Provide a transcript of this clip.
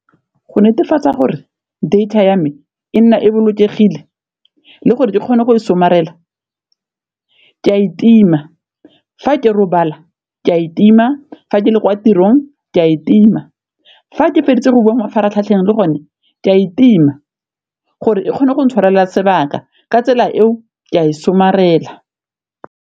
Go netefatsa gore data ya me e nna e bolokegile le gore ke kgone go somarela ke a e tima fa ke robala ke a e tima, fa ke le kwa tirong ke a e tima, fa ke feditse go bua mafaratlhatlheng le gone ke a e tima, gore e kgone go itshwarela sebaka ka tsela eo ke a e somarela.